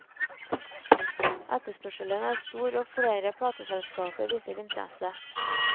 Etterspørselen er stor og flere plateselskaper viser interesse.